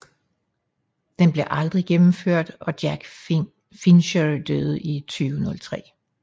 Den blev aldrig gennemført og Jack Fincher døde i 2003